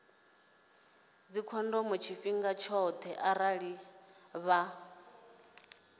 dzikhondomo tshifhinga tshoṱhe arali vha